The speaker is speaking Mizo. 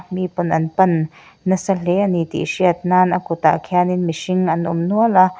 mi pawn an pan nasa hle a ni tih hriat nan a kawt ah khian in mihring an awm nual a.